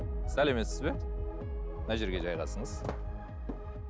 сәлеметсіз бе мына жерге жайғасыңыз